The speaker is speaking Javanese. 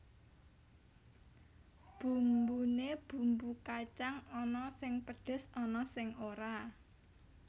Bumbune bumbu kacang ana sing pedhes ana sing ora